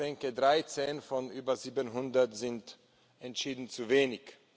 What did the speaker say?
Ich denke, 13 von über 700 sind entschieden zu wenig.